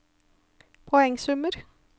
poengsummer